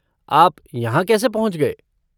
आप यहाँ कैसे पहुँच गए?